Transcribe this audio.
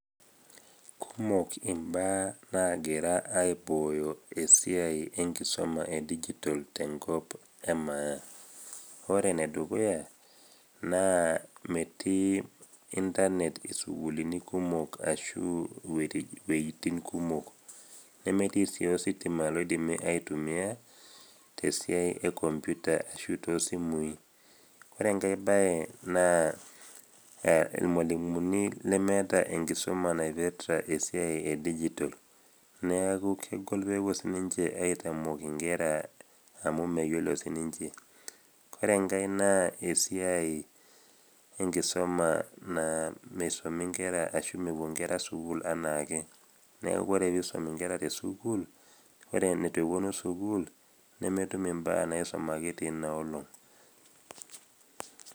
Kumok imbaa naagira aibooyo esiai enkisuma e digital tenkop e maa. Ore ene dukuya naa metii internet isukulini kumok ashuu inwuetin kumok, nemetii sii ositima oidimi aitumia te esiai e computer ashu too isimui. Ore enkai bae na ilmwalimuni lemeeta enkisuma naipirita esiai digital neaku kegol sii ninche pee ewuo aitamok inkera amu meyiolo sii ninche. Ore enkai naa esiai e enkisuma naa meisumi inkera anaa esiai naa mewuo inkera sukuul anaake, neaku ore pee isum inkera te sukuul, ore ineitu ewuonu sukuul nemetum imbaa naisumaki teina olong'.